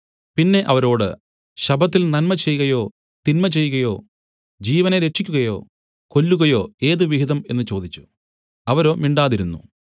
പിന്നെ അവരോട് ശബ്ബത്തിൽ നന്മ ചെയ്കയോ തിന്മചെയ്കയോ ജീവനെ രക്ഷിയ്ക്കുകയോ കൊല്ലുകയോ ഏത് വിഹിതം എന്നു ചോദിച്ചു അവരോ മിണ്ടാതിരുന്നു